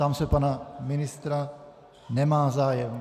Ptám se pana ministra - nemá zájem.